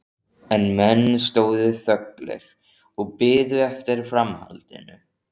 En menn stóðu þöglir og biðu eftir framhaldinu.